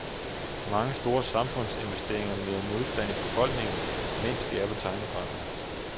Mange store samfundsinvesteringer møder modstand i befolkningen, mens de er på tegnebrættet.